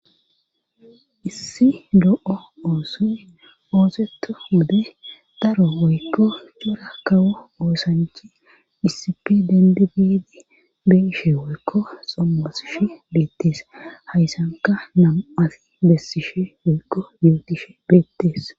issi lo7o oosu ooseto wode daro woykko cura kawo oosanchi issipe dendi biidi beishe woykko sommasishu beettees hayssanka nam7asi bessishe woykko yuutishe beettees